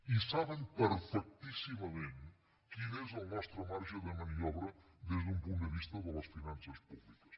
i saben perfectíssimament quin és el nostre marge de maniobra des d’un punt de vista de les finances públiques